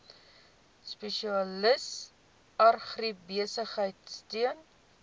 spesialis agribesigheid steun